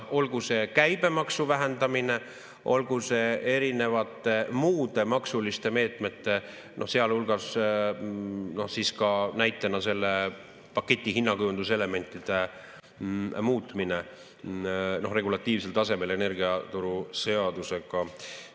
Olgu see käibemaksu vähendamine, olgu see erinevate muude maksuliste meetmete, sealhulgas näitena selle paketi hinnakujunduselementide muutmine regulatiivsel tasemel energiaturu seadusega.